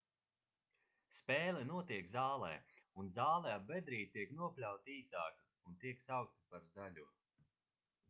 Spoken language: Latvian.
spēle notiek zālē un zāle ap bedrīti tiek nopļauta īsāka un tiek saukta par zaļo